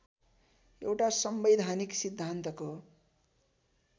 एउटा संवैधानिक सिद्धान्तको